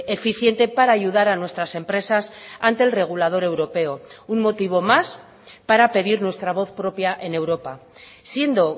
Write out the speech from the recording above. eficiente para ayudar a nuestras empresas ante el regulador europeo un motivo más para pedir nuestra voz propia en europa siendo